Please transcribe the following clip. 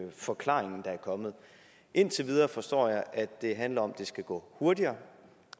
forklaring der er kommet indtil videre forstår jeg at det handler om det skal gå hurtigere